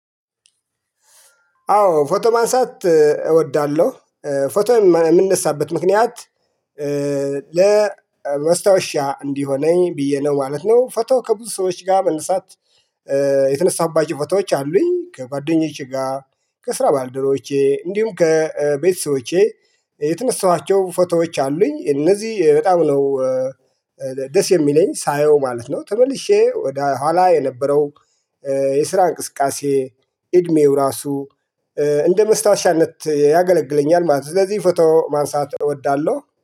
አዎ ፎቶ ማንሳት እወዳለሁ። ፎቶ የምነሳበት ምክንያት ለመስታወሻ እንዲሆነኝ ብዬ ነው ማለት ነው። ፎቶ ከብዙ ሰዎች ጋር መነሳት። የተነሳባቸው ፎቶዎች አሉኝ ከጓደኛቼ ጋር ከስራ ባልደረቦቼ እንዲሁም ከቤተሰቦቼ የተነሳኋቸው ፎቶዎች አሉኝ። እነዚህ በጣም ነው ደስ የሚለኝ ሳየው ማለት ነው። ተመልሼ ወደ ኋላ የነበረው። የስራ እንቅስቃሴ እድሜው ራሱ እንደ መስታወሻነት ያገለግለኛል ማለት ነው። ስለዚህ ፎቶ ማንሳት እወዳለሁ